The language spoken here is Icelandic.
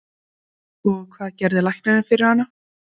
Lillý Valgerður: Og, hvað gerði læknirinn fyrir hana?